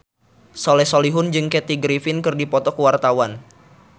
Soleh Solihun jeung Kathy Griffin keur dipoto ku wartawan